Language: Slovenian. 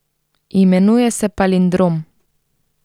Imenuje se Palindrom.